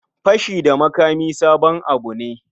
Fashi da makami sabon abu ne.